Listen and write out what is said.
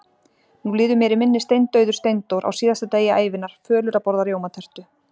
Nú líður mér í minni steindauður Steindór, á síðasta degi ævinnar, fölur að borða rjómatertu.